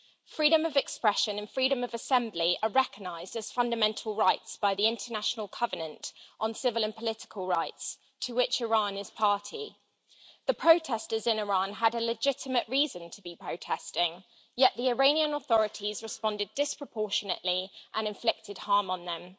Freedom of expression and freedom of assembly are recognised as fundamental rights by the International Covenant on Civil and Political Rights, to which Iran is party. The protestors in Iran had a legitimate reason to be protesting, yet the Iranian authorities responded disproportionately and inflicted harm on them.